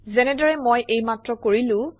যেনেদৰে মই এইমাত্ৰ কৰিলোঁ